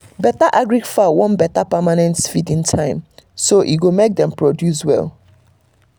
better agric fowl want better permanent feeding time so e go make dem produce well